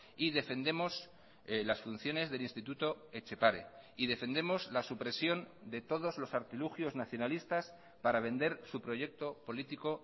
y defendemos las funciones del instituto etxepare y defendemos la supresión de todos los artilugios nacionalistas para vender su proyecto político